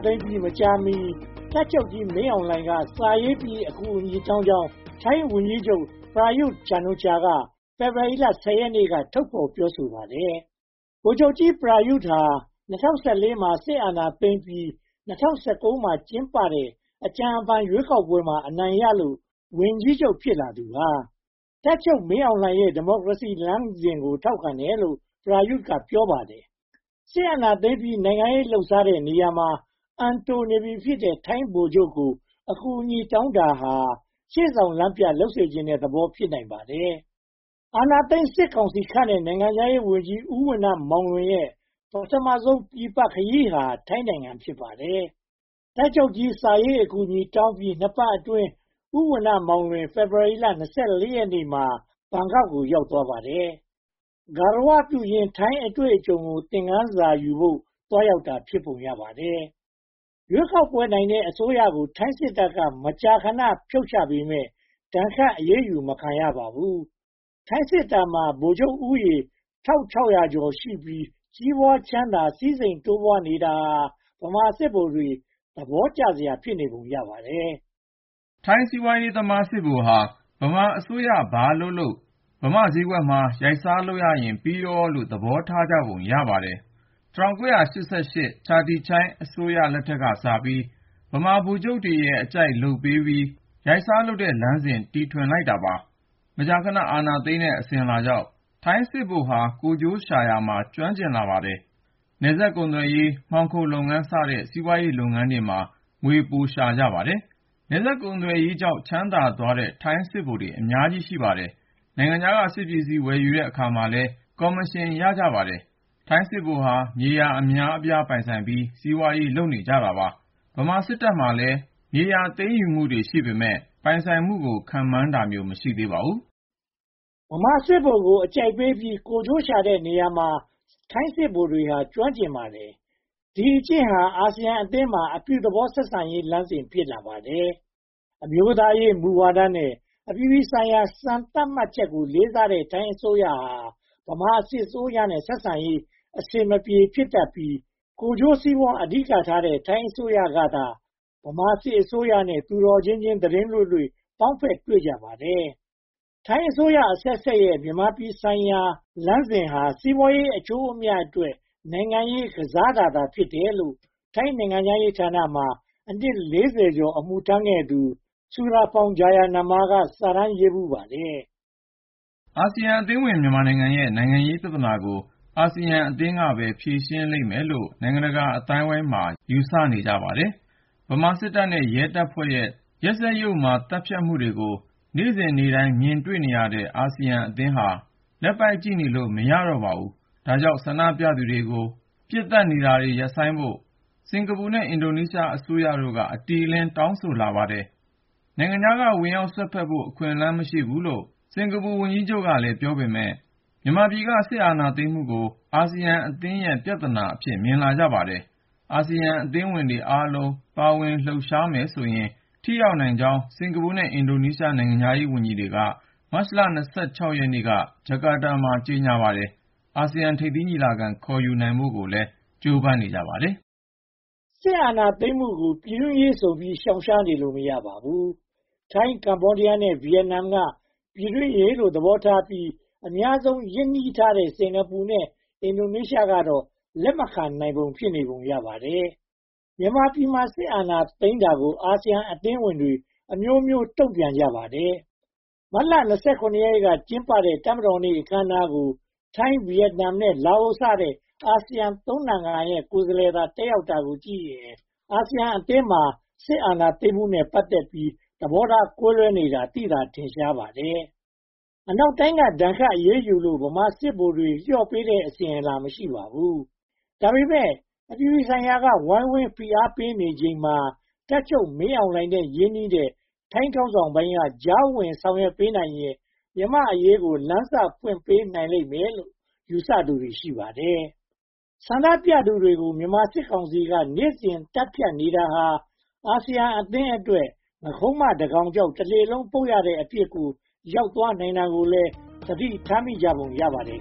သိမ်းပြီး မကြာမီ တပ်ချုပ်ကြီးမင်းအောင်လှိုင်က စာရေးပြီး အကူအညီတောင်းကြောင်း ထိုင်းဝန်ကြီးချုပ် Prayut Chanocha က ဖေဖေါ်ဝါရီ (၁၀) ရက်နေ့က ထုတ်ဖော်ပြောဆိုပါတယ်။ ဗိုလ်ချုပ်ကြီး Prayut ဟာ ၂၀၁၄ မှာ စစ်အာဏာသိမ်းပြီး ၂၀၁၉ မှာ ကျင်းပတဲ့ အကြံအဖန် ရွေးကောက်ပွဲမှာ အနိုင်ရလို့ ဝန်ကြီးချုပ် ဖြစ်လာသူပါ။ တပ်ချုပ်မင်းအောင်လှိုင်ရဲ့ ဒီမိုကရေစီလမ်းစဉ်ကို ထောက်ခံတယ်လို့ Prayut က ပြောပါတယ်။ စစ်အာဏာသိမ်းပြီး နိုင်ငံရေးလုပ်စားတဲ့နေရာမှာ အံတိုနေပြီဖြစ်တဲ့ ထိုင်းဗိုလ်ချုပ်ကို အကူအညီတောင်းတာဟာ ရှေ့ဆောင်လမ်းပြ လုပ်စေချင်တဲ့သဘော ဖြစ်ပါတယ်။ အာဏာသိမ်းစစ်ကောင်စီခန့်တဲ့ နိုင်ငံခြားရေးဝန်ကြီး ဦးဏ္ဏမောင်လွင်ရဲ့ ပထမဦးဆုံး ပြင်ပခရီးဟာ ထိုင်းနိုင်ငံ ဖြစ်ပါတယ်။ တပ်ချုပ်ကြီး စာရေးအကူအညီတောင်းပြီး နှစ်ပတ်အတွင်း ဦးဝဏ္ဏမောင်လွင် ဖေဖေါ်ဝါရီ (၂၄) ရက်နေ့မှာ ဘန်ကောက်ကို ရောက်သွားပါတယ်။ ဂါရဝပြုရင်း ထိုင်းအတွေ့အကြုံကို သင်ခန်းစာယူဖို့ သွားရောက်တာ ဖြစ်ပုံရပါတယ်။ ရွေးကောက်ပွဲနိုင်တဲ့ အစိုးရကို ထိုင်းစစ်တပ်က မကြာခဏ ဖြုတ်ချပေမယ့် ဒဏ်ခတ်အရေးယူ မခံရပါဘူး။ ထိုင်းစစ်တပ်မှာ ဗိုလ်ချုပ်ဦးရေ (၁၆၀၀) ကျော်ရှိပြီး ကြီးပွားချမ်းသာ စည်းစိမ်တိုးပွားနေတာဟာ ဗမာစစ်ဗိုလ်တွေ သဘောကျစရာ ဖြစ်နေပုံရပါတယ်။ ထိုင်းစီးပွားရေးသမား စစ်ဗိုလ်ဟာ မြန်မာအစိုးရ ဘာလုပ်လုပ် ဗမာဈေးကွက်မှာ ရိုက်စားလုပ်ရရင် ပြီးရောလို့ သဘောထားကြပုံ ရပါတယ်။ ချာတီချိုင်းအစိုးရ (၁၉၈၈-၉၁) ကစပြီး ဗမာဗိုလ်ချုပ်ရဲ့ အကြိုက်လုပ်ပေးပြီး ရိုက်စားလုပ်တဲ့လမ်းစဉ် တည်ထွင်လိုက်တာပါပဲ။ မကြာခဏ အာဏာသိမ်းတဲ့ အစဉ်အလာကြောင့် ထိုင်းစစ်ဗိုလ်ဟာ ကိုယ်ကျိုးရှာရာမှာ ကျွမ်းကျင်ကြပါတယ်။ နယ်စပ်ကုန်သွယ်ရေး၊ မှောင်ခိုလုပ်ငန်းစတဲ့ စီးပွားရေးလုပ်ငန်းတွေမှာ ငွေပိုရှာကြပါတယ်။ နယ်စပ်ကုန်သွယ်ရေးကြောင့် ချမ်းသာသွားတဲ့ ထိုင်းစစ်ဗိုလ်ချုပ်တွေ အများကြီးပါ။ နိုင်ငံခြားက စစ်ပစ္စည်းဝယ်ယူတဲ့အခါမှာလည်း ကော်မရှင်ရကြပါတယ်။ ထိုင်းစစ်ဗိုလ်ဟာ မြေယာအများအပြား ပိုင်ဆိုင်ပြီး၊ စီးပွားရေး လုပ်နေကြပါတယ်။ ဗမာစစ်တပ်မှာလည်း မြေယာသိမ်းယူမှုတွေ ရှိပေမယ့် ပိုင်ဆိုင်မှုကို ခန့်မှန်းတာမျိုး မရှိသေးပါဘူး။ ဗမာစစ်ဗိုလ်ကို အကြိုက်ပေးပြီး ကိုယ်ကျိုးရှာတဲ့နေရာမှာ ထိုင်းစစ်ဗိုလ်တွေက ကျွမ်းကျင်ပါတယ်။ ဒီအကျင့်ဟာ အာဆီယံအသင်းမှာ အပြုသဘောဆက်ဆံရေးလမ်းစဉ် ဖြစ်လာပါတယ်။ အမျိုးသားရေးမူဝါဒနဲ့ အပြည်ပြည်ဆိုင်ရာ စံသတ်မှတ်ချက်ကို လေးစားတဲ့ ထိုင်းအစိုးရဟာ ဗမာစစ်အစိုးရနဲ့ ဆက်ဆံရေး အဆင်မပြေ ဖြစ်တတ်ပြီး၊ ကိုယ်ကျိုးစီးပွားအဓိကထားတဲ့ ထိုင်းအစိုးရကသာ ဗမာစစ်အစိုးရနဲ့ သူတော်ချင်းချင်း သီတင်းလွေ့လွေ့ ပေါင်းဖက်တွေ့ကြပါတယ်။ ထိုင်းအစိုးရအဆက်ဆက်ရဲ့ မြန်မာပြည်ဆိုင်ရာလမ်းစဉ်ဟာ စီးပွားရေးအကျိုးအမြတ်အတွက် နိုင်ငံရေးကစားတာသာ ဖြစ်တယ်လို့ ထိုင်းနိုင်ငံခြားရေးဌာနမှာ အနှစ် (၄၀) ကျော် အမှုထမ်းခဲ့တဲ့ Surapong Jayanama က စာတမ်းရေးဖူးပါတယ်။ အာဆီယံအသင်းဝင် မြန်မာနိုင်ငံရဲ့ နိုင်ငံရေးပြဿနာကို အာဆီယံအသင်းကပဲ ဖြေရှင်းနိုင်လိမ့်မယ်လို့ နိုင်ငံတကာအသိုင်းအဝိုင်းမှာ ယူဆနေကြပါတယ်။ ဗမာစစ်တပ်နဲ့ ရဲတပ်ဖွဲ့ရဲ့ လူသတ်ပွဲနဲ့ ရက်စက်ယုတ်မာမှုတွေကို နေ့စဉ်နေ့တိုင်း မြင်တွေ့နေရတဲ့ အာဆီယံအသင်းဟာ လက်ပိုက်ကြည့်နေလို့မရတော့ပါဘူး။ ဒါကြောင့် ဆန္ဒပြနေသူတွေကို ပစ်သတ်နေတာ ရပ်ဆိုင်းဖို့ စင်္ကာပူနဲ့ အင်ဒိုနီးရှားအစိုးရတို့က အတိအလင်း တောင်းဆိုလာကြပါတယ်။ နိုင်ငံခြားက ဝင်ရောက်စွက်ဖက်ဖို့ အခွင့်အလမ်း မရှိဘူးလို့ စင်္ကာပူဝန်ကြီးချုပ်က ပြောပေမယ့် မြန်မာပြည်က စစ်အာဏာသိမ်းမှုကို အာဆီယံအသင်းရဲ့ ပြဿနာအဖြစ် မြင်ကြပါတယ်။ အာဆီယံအသင်းဝင်တွေ အားလုံးပါဝင်လှုပ်ရှားမယ်ဆိုရင် ထိရောက်နိုင်ကြောင်း စင်္ကာပူနဲ့ အင်ဒိုနေရှား နိုင်ငံခြားရေးဝန်ကြီးဌာနတွေ မတ်လ (၂၆) ရက်နေ့က ဂျကာတားမှာ ကြေညာပါတယ်။ အာဆီယံထိပ်သီးညီလာခံ ခေါ်ယူနိုင်ဖို့လည်း ကြိုးပမ်းနေကြပါတယ်။ စစ်အာဏာသိမ်းမှုကို ပြည်တွင်းရေးဆိုပြီး ရှောင်နေလို့ မရပါဘူး။ ထိုင်း၊ ကမ္ဘောဒီယားနဲ့ ဗိယက်နမ်က ပြည်တွင်းရေးလို့ သဘောထားပြီး အများဆုံး ရင်းနှီးထားတဲ့ စင်္ကာပူနဲ့ အင်ဒိုနေရှားကတော့ လက်မခံနိုင်ဘဲ ဖြစ်နေပုံရပါတယ်။ မြန်မာပြည်မှာ စစ်အာဏာသိမ်းတာကို အာဆီယံအသင်းဝင်တွေက အမျိုးမျိုးတုံ့ပြန်ကြပါတယ်။ မတ်လ (၂၇) ရက်နေ့က ကျင်းပခဲ့တဲ့ တပ်မတော်နေ့ အခမ်းအနားကို ထိုင်း၊ ဗိယက်နမ်နဲ့ လာအိုစတဲ့ အာဆီယံသုံးနိုင်ငံရဲ့ ကိုယ်စားလှယ်သာ တက်ရောက်တာကိုကြည့်ရင် အာဆီယံအသင်းမှာ စစ်အာဏာသိမ်းမှုနဲ့ ပတ်သက်ပြီး သဘောထားကွဲပြားနေတာ သိသာထင်ရှားနေပါတယ်။ အနောက်တိုင်းက ဒဏ်ခတ်အရေးယူလို့ ဗမာစစ်ဗိုလ်တွေ လျော့ပေးတဲ့ အစဉ်အလာ မရှိသေးပါဘူး။ ဒါပေမဲ့ အပြည်ပြည်ဆိုင်ရာက ဝိုင်းဝန်းဖိအားပေးနေချိန်မှာ တပ်ချုပ်မင်းအောင်လှိုင်နဲ့ ရင်းနှီးတဲ့ ထိုင်းခေါင်းဆောင်ပိုင်းက ကြားဝင်ဆောင်ရွက်နိုင်ရန် မြန်မာ့အရေးကို လမ်းစဖွင့်ပေးနိုင်လိမ့်မယ်လို့ ယူဆကြသူတွေ ရှိပါတယ်။ ဆန္ဒပြသူတွေကို မြန်မာစစ်ကောင်စီက နေ့စဉ်သတ်ဖြတ်နေတာဟာ အာဆီယံအသင်းအတွက် “ငါးခုံးမတကောင်ကြောင့် တလှေလုံးပုပ်” ရတဲ့အဖြစ်ကို ရောက်သွားနိုင်တာကိုလည်း သတိထားမိကြပုံ ရပါတယ်